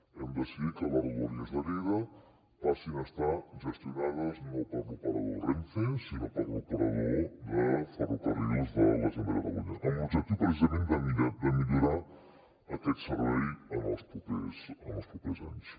hem decidit que les rodalies de lleida passin a estar gestionades no per l’operador renfe sinó per l’operador de ferrocarrils de la generalitat de catalunya amb l’objectiu precisament de millorar aquest servei en els propers anys